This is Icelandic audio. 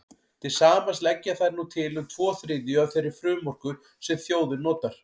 Til samans leggja þær nú til um tvo þriðju af þeirri frumorku sem þjóðin notar.